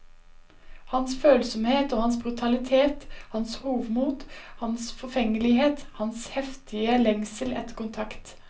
Hans følsomhet og hans brutalitet, hans hovmot, hans forfengelighet, hans heftige lengsel etter kontakt.